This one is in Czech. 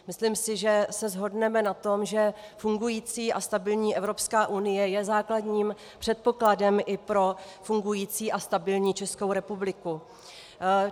Myslím si, že se shodneme na tom, že fungující a stabilní Evropská unie je základním předpokladem i pro fungující a stabilní Českou republiku.